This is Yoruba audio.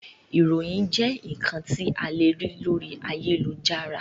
Ìròyìn jẹ́ ǹkan tí a le rí lórí ayélujára